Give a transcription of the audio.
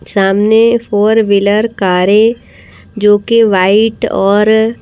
सामने four wheeler कारें जो कि वाइट और--